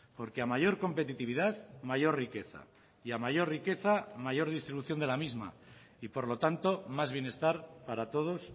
porque a mayor competitividad mayor riqueza y a mayor riqueza mayor distribución de la misma y por lo tanto más bienestar para todos